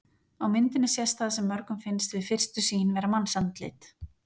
Á myndinni sést það sem mörgum finnst við fyrstu sýn vera mannsandlit.